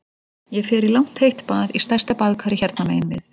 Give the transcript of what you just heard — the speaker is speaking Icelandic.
Ég fer í langt heitt bað í stærsta baðkari hérna megin við